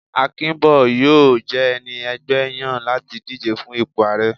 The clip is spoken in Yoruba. Akinbo yóò je ẹní ẹgbẹ yan lati dijé fún ìpo aarẹ.